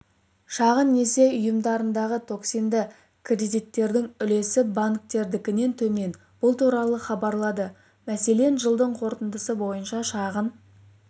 шағын несие ұйымдарындағы токсинді кредиттердің үлесі банктердікінен төмен бұл туралы хабарлады мәселен жылдың қорытындысы бойынша шағын